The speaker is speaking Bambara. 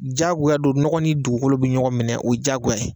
Jaagoya do nɔgɔ ni dugukolo bɛ ɲɔgɔn minɛ o ye jaagoya ye.